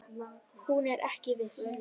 Hún er ekki viss.